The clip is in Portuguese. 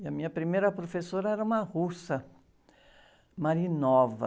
E a minha primeira professora era uma russa.